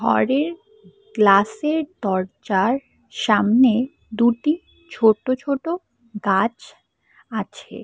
গরের গ্লাসের দরজার সামনে দুটি ছোট ছোট গাছ আছে।